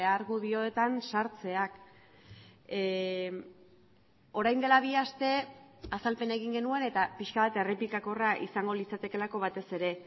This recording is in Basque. argudioetan sartzeak orain dela bi aste azalpena egin genuen eta pixka bat errepikakorra izango litzatekeelako batez ere